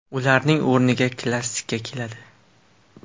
Ularning o‘rniga klassika keladi.